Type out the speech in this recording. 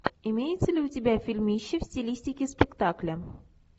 имеется ли у тебя фильмище в стилистике спектакля